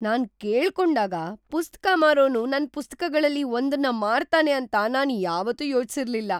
ನಾನ್ ಕೇಳ್ಕೊಂಡಾಗ ಪುಸ್ತಕ ಮಾರೋನು ನನ್ ಪುಸ್ತಕಗಳಲ್ಲಿ ಒಂದನ್ನು ಮಾರ್ತಾನೆ ಅಂತ ನಾನ್ ಯಾವತ್ತೂ ಯೋಚಿಸಿರ್ಲಿಲ್ಲ!